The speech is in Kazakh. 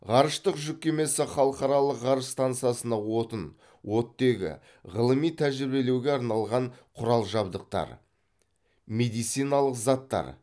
ғарыштық жүк кемесі халықаралық ғарыш стансасына отын оттегі ғылыми тәжірибелеуге арналған құрал жабдықтар медициналық заттар